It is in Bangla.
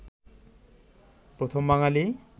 প্রথম বাঙালি